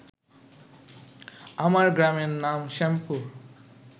আমার গ্রামের নাম শ্যামপুর